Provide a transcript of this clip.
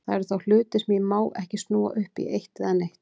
Það eru þá til hlutir sem ég má ekki snúa upp í eitt eða neitt.